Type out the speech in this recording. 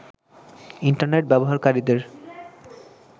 internet ব্যবহারকারীদের